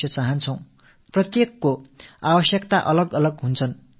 நமது பிள்ளைகளின் எதிர்காலம் சிறப்பாக இருக்க வேண்டும் என்று விரும்புகிறோம்